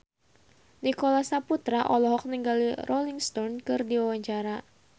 Nicholas Saputra olohok ningali Rolling Stone keur diwawancara